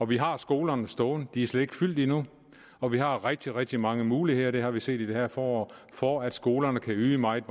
vi har skolerne stående de er slet ikke fyldte endnu og vi har rigtig rigtig mange muligheder det har vi set i det her forår for at skolerne kan yde meget